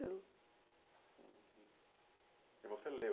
Eu. E você leu